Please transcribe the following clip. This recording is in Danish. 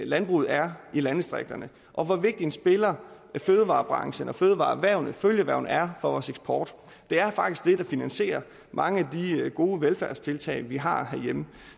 landbruget er i landdistrikterne og hvor vigtig en spiller fødevarebranchen fødevarererhvervene og følgeerhvervene er for vores eksport det er faktisk det der finansierer mange af de gode velfærdstiltag vi har herhjemme